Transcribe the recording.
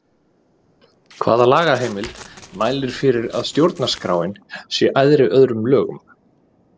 Hvaða lagaheimild mælir fyrir að stjórnarskráin sé æðri öðrum lögum?